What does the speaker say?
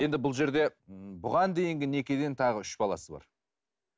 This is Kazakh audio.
енді бұл жерде бұған дейінгі некеден тағы үш баласы бар